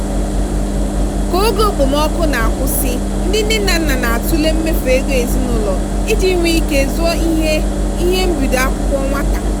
ka oge okpomọkụ na-akwụsị ndị nne na nna na-atụle mmefu ego ezinụlọ iji nwee ike zụọ ihe ihe mbido akwụkwọ nwata.